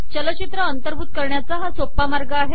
चलचित्र अंतर्भूत करण्याचा हा सोपा मार्ग आहे